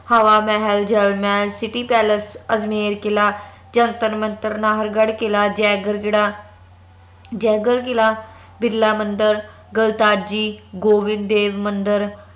Hawa Mahal Jal Mahal City Palace Ajmer ਕਿਲਾ ਜੰਤਰ ਮੰਤਰ ਨਾਹਰਗੜ੍ਹ ਕਿਲਾ ਜੇਗਰ ਕੀੜਾ ਜੇਗਰ ਕਿਲਾ ਬਿਰਲਾ ਮੰਦਿਰ ਗਲਤਾਜੀ ਗੋਵਿੰਦਦੇਵ ਮੰਦਰ